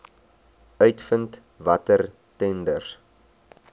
uitvind watter tenders